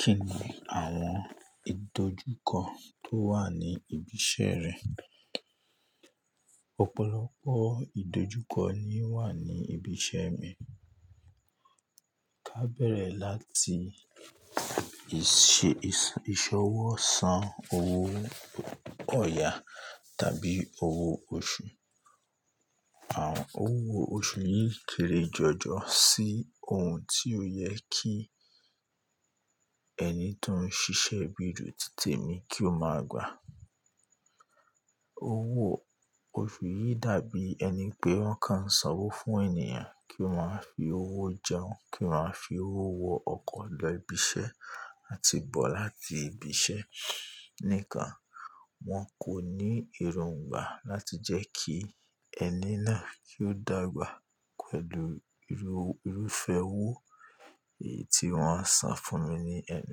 Kí ni àwọn ìdojúkọ tó wà ní ibi iṣẹ́ rẹ? Ọ̀pọ̀lọpọ̀ ìdojúkọ ni ó wà ní ibi iṣẹ́ mi. Ká bẹ̀rẹ̀ láti ìṣ-ìṣ-ìṣọwọ́ san owó ọ̀ya tàbí owó oṣù. Àwọn owó oṣù yìí kéré jọjọ sí ohun tí ó yẹ kí ẹni tó ń ṣiṣẹ́ bí tèmi mi kí ó máa gbà. Owó oṣù yìí dàbí ẹni pé wọ́n kàn sanwó fún ènìyàn kí ó máa fi owó jẹun, kí ó máa fi owó wọ ọkọ̀ lọ ibi iṣẹ́ àti bọ̀ láti ibi iṣẹ́. Níkan, wón kò ní èròngbà láti jẹ́ kí ẹni náà kí ó dàgbà pẹ̀lú irú-irúfẹ́ owó èyí tí wọ́n ń san fún mi ni ẹnu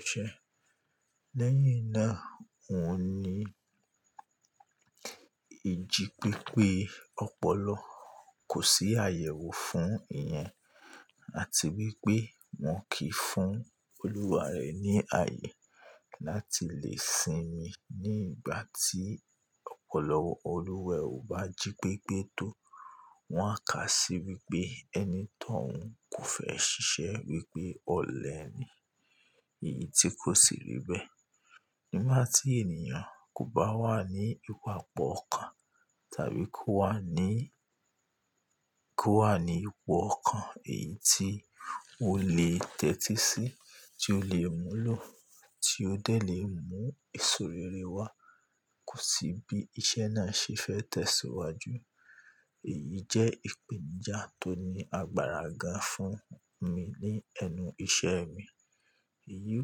iṣẹ́. Lẹ́yìn náà, òun ní ìjì pépé ọ̀pọ̀lọpọ̀ kò sí àyẹ̀wò fún ìyẹn àti wípé wón kì í fún olúwa rẹ̀ ní ààyè láti lè sinmi ní ìgbà tí ọpọlọ olúwaẹ̀ ò bá jí pépé tó. Wọn á kà sí wípé ẹni tọ̀uń kò fẹ́ ṣiṣẹ́ wípé ọ̀lẹ ni, èyí tí kò sì rí bẹ́ẹ̀. Nígbà tí ènìyàn kò bá wà ní ìpaọ̀ ọkàn tàbí kó wà ní, kó wà ní ipò ọkàn èyí tí ó lè tẹ́tí sí, tí ó lè múlò, tí ó dé lè mú èèsò rere wá, kò sì bí iṣẹ́ náà ṣe fẹ́ tẹ̀síwájú, èyí jẹ́ ìpèǹíjà tó ní agbára gan fún mi ní ẹnu iṣẹ́ mi. Èyí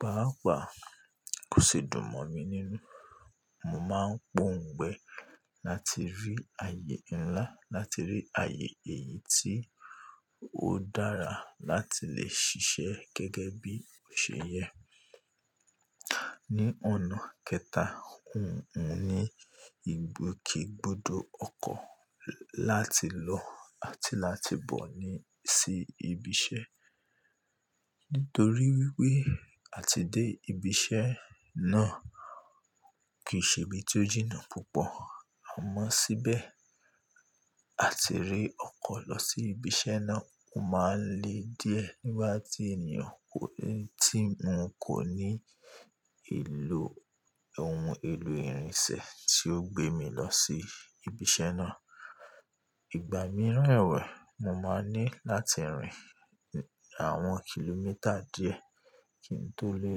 pàápàá kò sì dùn mọ́ mi nínú. Mo máa ń poǹgbẹ láti rí ààyè ńlá, láti rí ààyè èyí tí ó dára láti lè ṣiṣẹ́ gẹ́gẹ́ bí ó ṣe yẹ. Ní ọ̀nà kẹta, n ò ní ìgbòkègbodò ọkọ̀ láti lọ àti láti bọ̀ ní sí ibi iṣẹ́. Nítorí wípé àti dé ibi iṣẹ́ náà kì í ṣe ibi tí ó jìnnà púpọ̀. A mọ síbẹ̀ àti rí ọkọ̀ lọ sí ibi iṣẹ́ náà, ó máa ń le díẹ̀ nígbà tí ènìyàn kò ní-- tí mo kò ní ìlò ohun èlò ìrìnṣẹ̀ tí ó gbé mi lọ sí ibi iṣẹ́ náà. Ìgbà mìíràn ẹ̀wẹ̀, mo máa ní láti rìn àwọn kìlómítà díẹ̀ kí n tó lè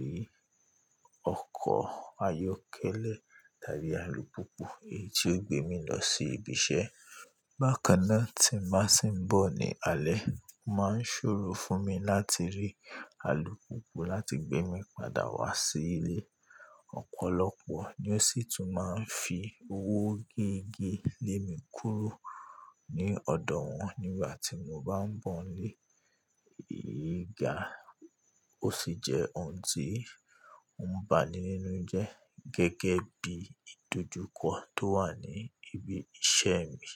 rí ọkọ̀ ayọ́kẹ́lẹ́ tàbí alùpùpù èyí tí ó gbé mi lọ sí ibi iṣẹ́. Bákan náà tí mbá sì ń bọ̀ ní alẹ́, ó máa ń ṣòro fún mi láti rí alùpùpù láti gbé mi padà wá sí ilé. Ọ̀pọ̀lọpọ̀ ni ó sì tún máa ń fi owó gegee lé mi kúrò ní ọ̀dọ̀ wọn nígbà tí mo bá ń bọ̀ ńlé. Èyí ga, ó sì jẹ́ ohun tí n bà ní nínú jẹ́ gẹ́gẹ́ bí ìdojúkọ tó wà ní ibi iṣẹ́ mi.